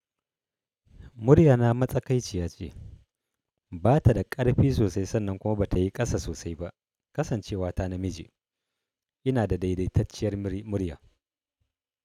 Muryana matsakaiciyace, batada ƙarfi sosai sannan kuma batayi ƙasa sosai ba. Kasancewa ta namiji, inada daidaitacciyar murya.